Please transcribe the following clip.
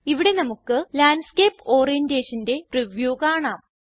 ഇവിടെ നമുക്ക് ലാൻഡ്സ്കേപ്പ് Orientationന്റെ പ്രിവ്യൂ കാണാം